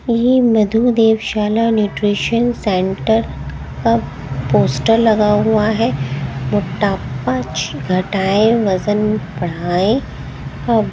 ये मधुदेव शाला न्यूट्रिशन सेंटर का पोस्टर लगा हुआ है मोटापा ची घटाए वजन बढ़ाएं अ--